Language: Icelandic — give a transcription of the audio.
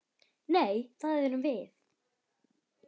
Nei, það erum við.